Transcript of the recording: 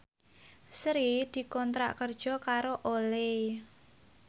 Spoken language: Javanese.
Sri dikontrak kerja karo Olay